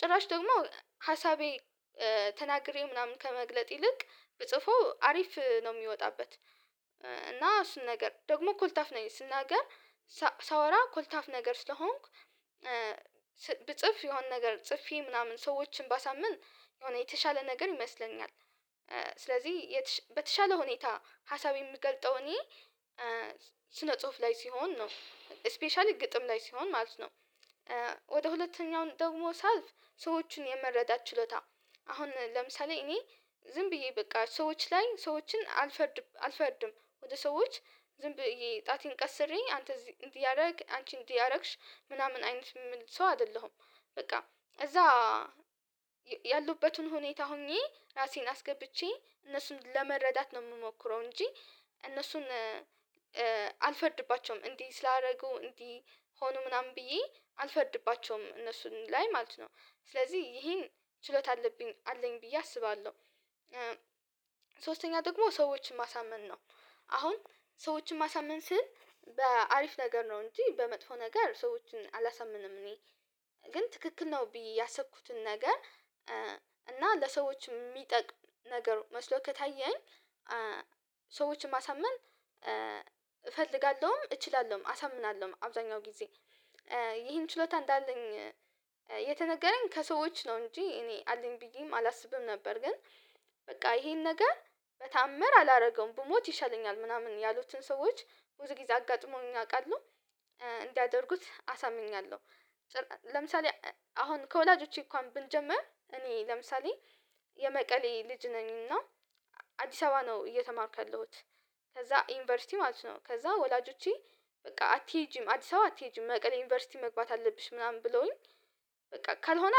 ጭራሽ ደግሞ ሀሳቤ ተናግሬ ምናምን ከመግለጥ ይልቅ በጽፈው አሪፍ ነው የሚወጣበት እና እሱን ነገር ደግሞ ኮልታፍ ነኝ ስናገር ሳወራ ኮልታፍ ነገር ስለሆንክ ብጽፍ የሆነ ነገር ጽፌ ምናምን ሰዎችን ባሳምን የሆነ የተሻለ ነገር ይመስለኛል። ስለዚህ በተሻለ ሁኔታ ሀሳብ የምገልጠው እኔ ስነ ጽሁፍ ላይ ሲሆን ነው ስፔሻሊ ግጥም ላይ ሲሆን ማለት ነው። ወደ ሁለተኛው ደግሞ ሳልፍ ሰዎችን የመረዳት ችሎታ አሁን ለምሳሌ እኔ ዝም ብዬ በቃ ሰዎች ላይ ሰዎችን አልፈርድም አልፈርድም ወደ ሰዎች ዝም ብዬ ጣቴን ቀስሬኝ አንተ እንዲህ እንዲህ አንቺ እንዲያደርግሽ ምናምን አይነት የሚል ሰው አይደለሁም። በቃ እዛ ያሉበትን ሁኔታ ሆኜ ራሴን አስገብቼ እነሱን ለመረዳት ነው የምሞክረው እንጂ እነሱን አልፈርድባቸውም እንዲህ ስላደረጉ እንዲህ ሆኖ ምናምን ብዬ አልፈርድባቸውም እነሱን ላይ ማለት ነው ስለዚህ ይሄን ችሎታ አለብኝ አለኝ ብዬ አስባለሁ። ሶስተኛ ደግሞ ሰዎችን ማሳመን ነው። አሁን ሰዎችን ማሳመን ስል በአሪፍ ነገር ነው እንጂ በመጥፎ ነገር ሰዎችን አላሳምንም እኔ ግን ትክክል ነው ብዬ ያሰብኩትን ነገር እና ለሰዎች የሚጠቅም ነገር መስሎ ከታየኝ ሰዎችን ማሳመን እፈልጋለሁም እችላለሁም አሳምናለሁ አብዛኛው ጊዜ ይህን ችሎታ እንዳለኝ የተነገረኝ ከሰዎች ነው እንጂ እኔ አለኝ ብዬም አላስብም። ነበር ግን በቃ ይሄን ነገር በተአምር አላደረገውም ብሞት ይሻለኛል ምናምን ያሉትን ሰዎች ብዙ ጊዜ አጋጥሞኝ ያውቃሉ እንዲያደርጉት አሳምኛለሁ። ለምሳሌ አሁን ከወላጆቼ እንኳን ብንጀምር እኔ ለምሳሌ የመቀሌ ልጅ ነኝና አዲስ አበባ ነው እየተማርኩ ያለሁት ከዛ ዩኒቨርሲቲ ማለት ነው ከዛ ወላጆቼ በቃ አትሄጂም አዲስ አበባ አትሄጂም መቀሌ ዩኒቨርሲቲ መግባት አለብሽ ምናምን ብለውኝ በቃ ካልሆነ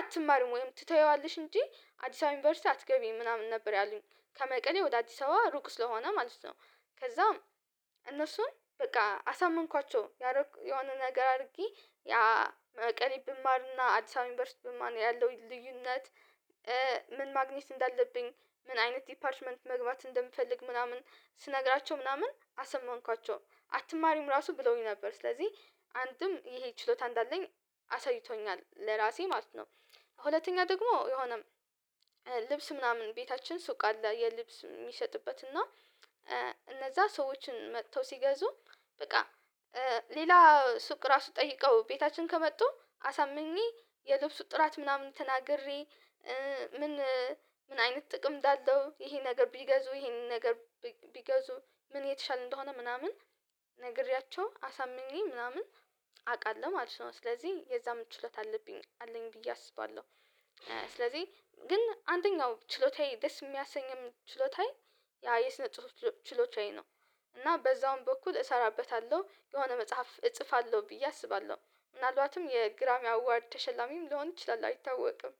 አትማርም ወይም ትተይዋለሽ እንጂ አዲስ አበባ ዩኒቨርሲቲ አትገቢም ምናምን ነበር ያሉኝ ከመቀሌ ወደ አዲስ አበባ ሩቅ ስለሆነ ማለት ነው። ከዛም እነሱን በቃ አሳመንኳቸው ያረኩ የሆነ ነገር አድርጌ ያ መቄሌ ብማርና አዲስ አበባ ዩኒቨርሲቲ ብማር ያለውን ልዩነት ማግኘት እንዳለብኝ ምን አይነት ዲፓርትመንት መግባት እንደምፈልግ ምናምን ስነግራቸው ምናምን አሳመንኳቸው አትማሪም ራሱ ብለውኝ ነበር ስለዚህ አንድም ይሄ ችሎታ እንዳለኝ አሳይቶኛል ለራሴ ማለት ነው። ሁለተኛ ደግሞ የሆነ ልብስ ምናምን ቤታችን ሱቅ አለ የልብስ የሚሸጥበት እና እነዛ ሰዎችን መጥተው ሲገዙ በቃ ሌላ ሱቅ ራሱ ጠይቀው ቤታችን ከመጡ አሳምኜ የልብሱ ጥራት ምናምን ተናግሬ ምን ምን አይነት ጥቅም እንዳለው ይሄ ነገር ቢገዙ ይሄንን ነገር ቢገዙ ምን የተሻለ እንደሆነ ምናምን ነግሬያቸው አሳምኜ ምናምን አውቃለሁ ማለት ነው ስለዚህ የዛም ችሎታ አለብኝ አለኝ ብዬ አስባለሁ። ስለዚህ ግን አንደኛው ችሎታዬ ደስ የሚያሰኘኝ ችሎታዬ ያ የስነ ጽሁፍ ችሎታዬ ነው። እና በዛውም በኩል እሰራበታለሁ የሆነ መጽሐፍ እጽፋለሁ ብዬ አስባለሁ ምናልባትም የግራምሚ አዋርድ ተሸላሚም ልሆን ይችላል አይታወቅም።